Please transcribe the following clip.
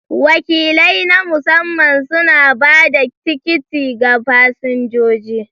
Wakilai na masamman suna ba da tikiti ga fasinjoji.